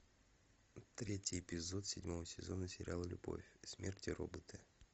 третий эпизод седьмого сезона сериала любовь смерть и роботы